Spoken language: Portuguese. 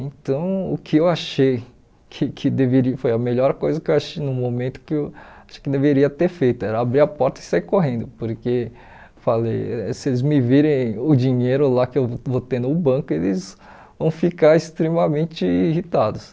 Então, o que eu achei que que deveria, foi a melhor coisa que eu achei no momento, que eu acho que deveria ter feito, era abrir a porta e sair correndo, porque falei se eles me virem o dinheiro lá que eu vou ter no banco, eles vão ficar extremamente irritados.